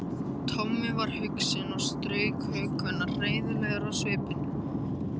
Tommi var hugsi og strauk hökuna heiðarlegur á svipinn.